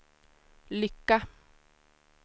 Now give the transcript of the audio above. lycka